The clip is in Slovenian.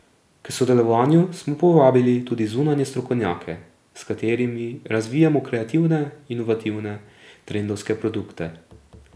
K sodelovanju smo povabili tudi zunanje strokovnjake, s katerimi razvijamo kreativne, inovativne, trendovske produkte.